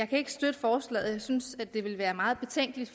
kan støtte forslaget jeg synes det ville være meget betænkeligt